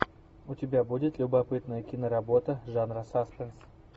у тебя будет любопытная киноработа жанра саспенс